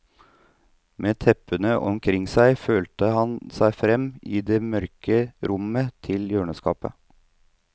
Med teppene omkring seg følte han seg frem i det mørke rommet til hjørneskapet.